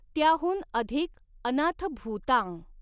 त्याहून अधिक अनाथभूतां।